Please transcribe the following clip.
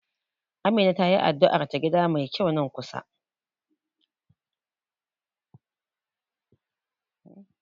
Amina tayi addu'ar ta gida mai kyau nan kusa.